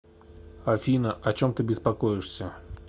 афина о чем ты беспокоишься